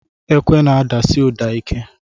Ekwe n'adasi ụda ike.